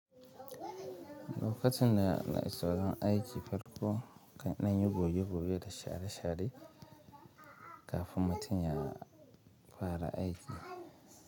Lokacin da na iso wurin aiki farko na kan ɗan yi goge-goge da share-share kafin mutum ya fara aiki.